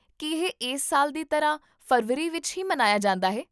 ਕੀ ਇਹ ਇਸ ਸਾਲ ਦੀ ਤਰ੍ਹਾਂ ਫ਼ਰਵਰੀ ਵਿਚ ਹੀ ਮਨਾਇਆ ਜਾਂਦਾ ਹੈ?